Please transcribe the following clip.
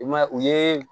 I ma ye u ye